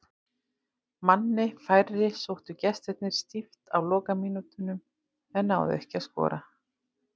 Manni færri sóttu gestirnir stíft á lokamínútunum en náðu ekki að skora.